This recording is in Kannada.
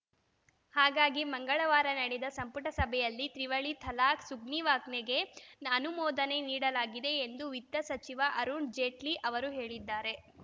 ಹಾಗಾಗಿ ಮಂಗಳವಾರ ನಡೆದ ಸಂಪುಟ ಸಭೆಯಲ್ಲಿ ತ್ರಿವಳಿ ತಲಾಖ್‌ ಸುಗ್ರೀವಾಜ್ಞೆಗೆ ಅನುಮೋದನೆ ನೀಡಲಾಗಿದೆ ಎಂದು ವಿತ್ತ ಸಚಿವ ಅರುಣ್‌ ಜೇಟ್ಲಿ ಅವರು ಹೇಳಿದ್ದಾರೆ